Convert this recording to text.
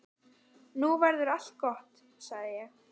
Nú verður allt gott, sagði ég.